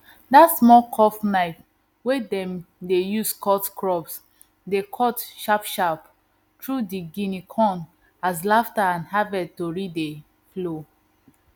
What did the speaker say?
dat small curved knife wey dem dey use cut crops dey cut sharpsharp through di guinea corn as laughter and harvest tory dey flow